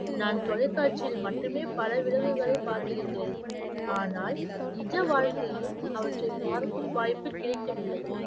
நான் தொலைக்காட்சியில் மட்டுமே பல விலங்குகளை பார்த்து இருக்கிறேன் ஆனால் நிஜ வாழ்க்கையில் அவற்றை பார்க்கும் வாய்ப்பு கிடைக்கவில்லை